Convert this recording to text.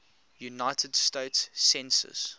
united states census